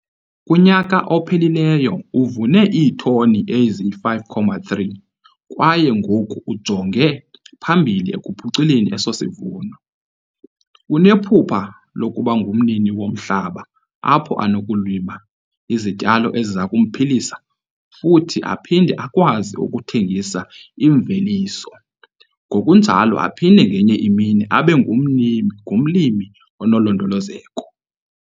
Kunyaka ophelileyo uvune iitoni ezi-5,3 kwaye ngoku ujonge phambili ekuphuculeni eso sivuno. Unephupha lokuba ngumnini womhlaba apho anokulima izityalo eziza kumphilisa futhi aphinde akwazi ukuthengisa imveliso ngokunjalo aphinde ngenye imini abe ngumlimi onolondolozeko.